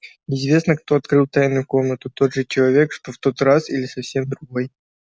неизвестно кто открыл тайную комнату тот же человек что в тот раз или совсем другой